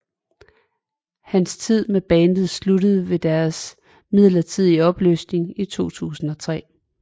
Hans tid med bandet sluttede ved deres midlertidige opløsning i 2003